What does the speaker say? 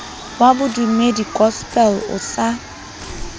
wa bodumedi gospel o sa